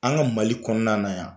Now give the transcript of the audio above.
An ka Mali kɔnɔna na yan